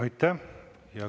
Aitäh!